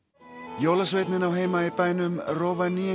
jólasveinninn á heima í bænum